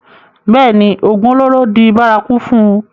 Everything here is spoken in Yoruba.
bẹ́ẹ̀ni, ògùn olóró di bárakú fún un